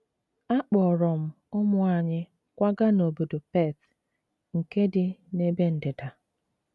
Akpọọrọ m ụmụ anyị kwaga n’obodo Perth nke dị n’ebe ndịda.